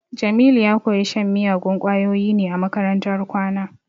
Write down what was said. Jamilu ya koyi shan miyagun kwayoyi ne a makarantar kwana